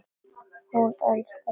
Hún elskar þetta lag!